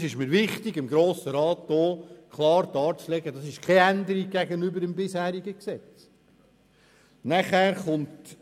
Es ist mir wichtig, dem Grossen Rat klar darzulegen, dass er keine Änderung gegenüber dem bisherigen Gesetz darstellt.